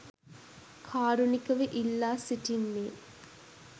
කාරුණිකව ඉල්ලා සිටින්නේ